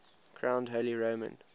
crowned holy roman